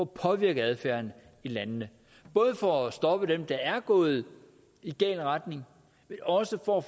påvirke adfærden i landene både for at stoppe dem der er gået i gal retning og også for at